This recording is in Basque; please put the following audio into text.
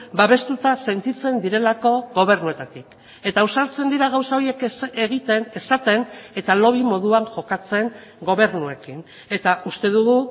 babestuta sentitzen direlako gobernuetatik eta ausartzen dira gauza horiek egiten esaten eta lobby moduan jokatzen gobernuekin eta uste dugu